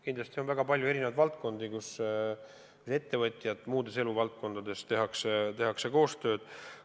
Kindlasti on väga palju valdkondi, kus ettevõtjad teevad koostööd.